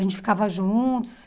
A gente ficava juntos.